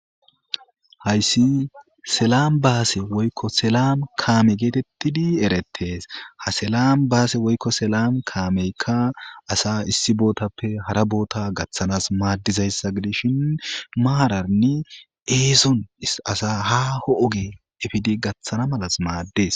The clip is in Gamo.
Hayisi slanbase woyikko selam kame getetidi eretes ha belambase woyikko selam kameka asa issi botappe hara bota gatanas madizayisa gidishin maran eson asa haho oge efidi gatana mala mades.